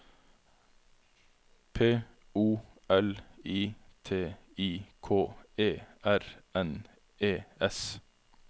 P O L I T I K E R N E S